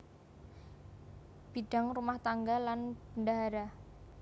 Bidang rumah tangga lan bendahara